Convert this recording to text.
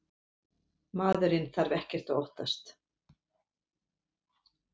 Maðurinn þarf ekkert að óttast.